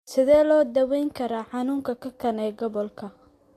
Sidee loo daweyn karaa xanuunka kakan ee gobolka?